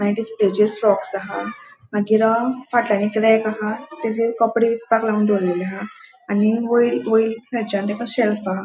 डिस्प्लेचेर फ्रॉक्स हा मागीर आ फाटल्यान एक रैक हा तेचेर कपड़े विपाक लावून दोरलेले हा आणि वयर वयर थँचान तेका शेल्फ हा.